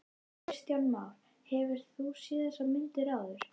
Kristján Már: Hefurðu séð þessar myndir áður?